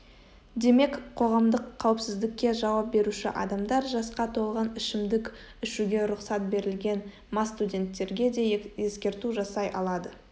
демек қоғамдық қауіпсіздікке жауап беруші адамдар жасқа толған ішімдік ішуге рұқсат берілген мас студенттерге де ескерту жасай алады